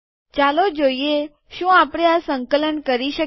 ચાલો જોઈએ શું આપણે આ સંકલન કરી શકીએ